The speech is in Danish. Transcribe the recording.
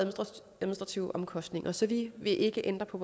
administrative omkostninger så vi vil ikke ændre på